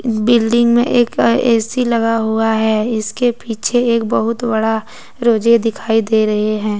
Building में एक A C लगा हुआ है इसके पीछे एक बहुत बड़ा रोजे दिखाई दे रहे हैं।